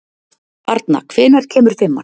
Arna, hvenær kemur fimman?